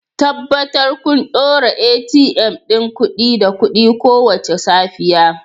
Tabbatar kun ɗora ATM ɗin kuɗi da kuɗi kowace safiya